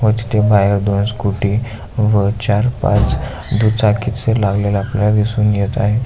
व तिथे बाहेर दोन स्कूटी व चार पाच दुचाकी लागलेल आपल्याला दिसून येत आहे.